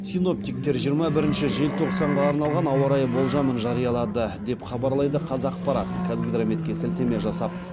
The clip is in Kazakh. синоптиктер жиырма бірінші желтоқсанға арналған ауа райы болжамын жариялады деп хабарлайды қазақпарат қазгидрометке сілтеме жасап